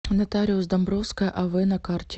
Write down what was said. нотариус домбровская ав на карте